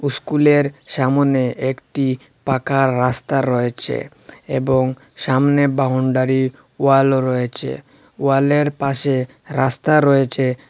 ইস্কুলের সামনে একটি পাকা রাস্তা রয়েছে এবং সামনে বাউন্ডারি ওয়ালও রয়েছে ওয়ালের পাশে রাস্তা রয়েছে।